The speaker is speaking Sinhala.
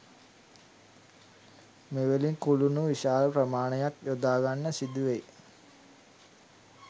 මෙවැනි කුළුණු විශාල ප්‍රමාණයක් යොදාගන්න සිදුවෙයි